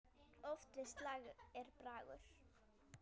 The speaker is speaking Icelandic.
Oft við slag er bragur.